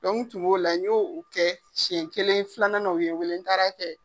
Dɔnku tun b'o la n y'o kɛ siɲɛ kelen filanan u ye n wele n taar'kɛ.